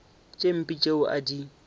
tše mpe tšeo a di